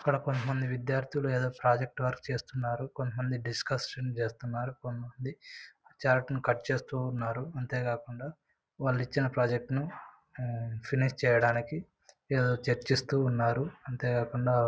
ఇక్కడ కొంతమంది విద్యార్థులు ఏదో ప్రాజెక్ట్ వర్క్ చేస్తున్నారు. కొంతమంది డిస్కషన్ చేస్తున్నారు. కొంతమంది చార్ట్ ని కట్ చేస్తూ ఉన్నారు. అంతే కాకుండా వాళ్ళు ఇచ్చిన ప్రాజెక్ట్ ను ఉమ్ ఫినిష్ చేయడానికి ఏదో చర్చిస్తూ ఉన్నారు. అంతే కాకుండా--